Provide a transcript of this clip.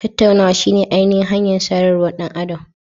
Tattaunawa shine ainihin hanyar sadarwar ɗan adam.